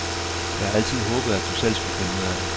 Jeg har altid håbet, at du selv skulle finde ud af det.